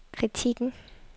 kritikken